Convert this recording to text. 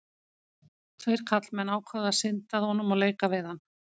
Tveir karlmenn ákváðu að synda að honum og leika við hann.